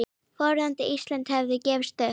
Fordæmi Íslands hefði gefist vel.